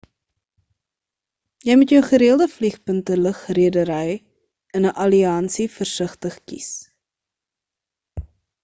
jy moet jou gereelde vliegpunte lugredery in 'n alliansie versigtig kies